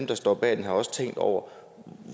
der står bag det også tænkt over